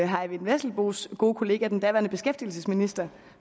herre eyvind vesselbos gode kollega den daværende beskæftigelsesminister